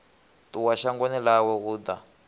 ṱuwa shangoni ḽawe u ḓa